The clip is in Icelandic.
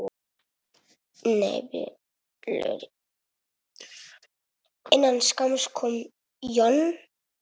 Innan skamms kom John.